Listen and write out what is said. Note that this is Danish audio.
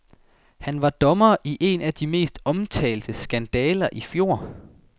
Han var dommer i en af de mest omtalte skandaler i fjor.